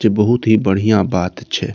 जे बहुत ही बढ़िया बात छे।